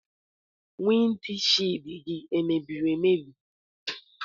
Wịnd shịld gị emebiri emebi?